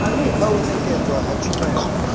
kha u nekedzwa ha tshumelo